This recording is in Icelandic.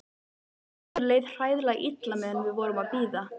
Okkur leið hræðilega illa meðan við vorum að bíða.